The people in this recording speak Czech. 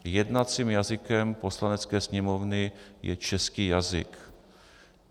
Jednacím jazykem Poslanecké sněmovny je český jazyk.